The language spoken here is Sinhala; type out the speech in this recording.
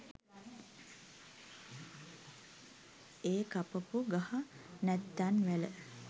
ඒ කපපු ගහ නැත්තං වැල